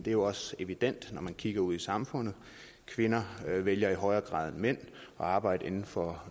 er jo også evident når man kigger ud i samfundet kvinder vælger i højere grad end mænd at arbejde inden for